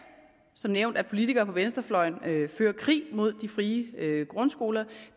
som nævnt at politikere på venstrefløjen fører krig mod de frie grundskoler